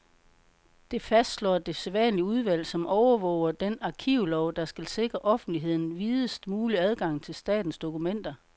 Det fastslår det særlige udvalg, som overvåger den arkivlov, der skal sikre offentligheden videst mulig adgang til statens dokumenter.